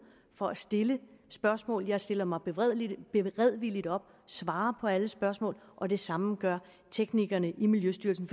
for at stille spørgsmål jeg stiller mig beredvilligt beredvilligt op svarer på alle spørgsmål og det samme gør teknikerne i miljøstyrelsen